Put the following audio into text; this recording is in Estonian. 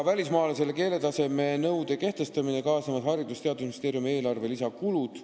Välismaalasele keeletaseme nõude kehtestamisega kaasnevad Haridus- ja Teadusministeeriumi eelarvele lisakulud.